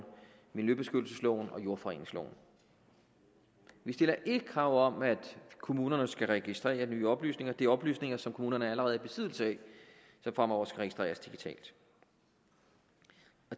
miljøbeskyttelsesloven og jordforureningsloven vi stiller ikke krav om at kommunerne skal registrere nye oplysninger det er oplysninger som kommunerne allerede er i besiddelse af som fremover skal registreres digitalt